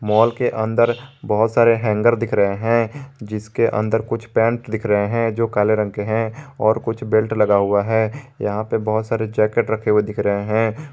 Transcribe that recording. Mall के अंदर बहुत सारे हैंगर दिख रहे हैं जिसके अंदर कुछ पैंट दिख रहे हैं जो काले रंग के है और कुछ बेल्ट लगा हुआ है यहां पे बहुत सारे जैकेट रखे हुए दिख रहे हैं।